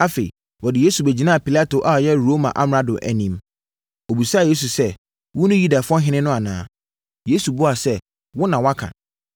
Afei, wɔde Yesu bɛgyinaa Pilato a ɔyɛ Roma amrado no anim. Ɔbisaa Yesu sɛ, “Wone Yudafoɔ Ɔhene no anaa?” Yesu buaa sɛ, “Wo na woaka.”